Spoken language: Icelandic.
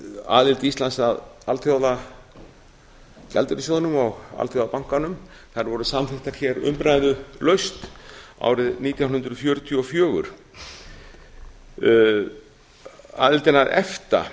aðild íslands að alþjóðagjaldeyrissjóðnum og alþjóðabankanum þær voru samþykktar hér umræðulaust árið nítján hundruð fjörutíu og fjögur aðildin að efta